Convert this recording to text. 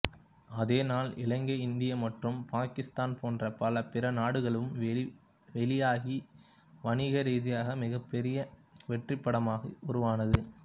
அதே நாள் இலங்கை இந்தியா மற்றும் பாகிஸ்தான் போன்ற பல பிற நாடுகளிலும் வெளியாகி வணிகரீதியாக மிகப்பெரிய வெற்றிப்படமாக உருவானது